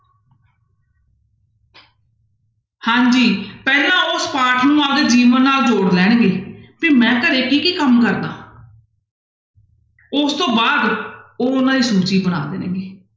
ਹਾਂਜੀ ਪਹਿਲਾਂ ਉਸ ਪਾਠ ਨੂੰ ਆਪਦੇ ਜੀਵਨ ਨਾਲ ਜੋੜ ਲੈਣਗੇ ਵੀ ਮੈਂ ਘਰੇ ਕੀ ਕੀ ਕੰਮ ਕਰਦਾ ਹਾਂ ਉਸਤੋਂ ਬਾਅਦ ਉਹ ਉਹਨਾਂ ਦੀ ਸੂਚੀ ਬਣਾ ਦੇਣਗੇ।